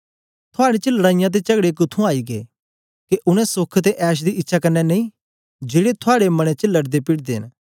थुआड़े च लड़ाईयां ते चगड़े कुत्थुआं आई गै के उनै सोख ते ऐश दी इच्छा कन्ने नेई जेड़े थुआड़े मने च लड़देपीड़दे न